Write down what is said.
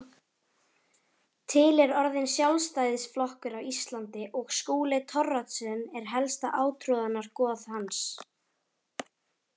Til er orðinn Sjálfstæðisflokkur á Íslandi og Skúli Thoroddsen er helsta átrúnaðargoð hans.